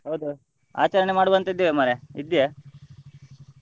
ಹೌದು ಆಚರಣೆ ಮಾಡುವಂತ ಇದ್ದೆವೇ ಮಾರ್ರೆ ಇದ್ದೀಯ?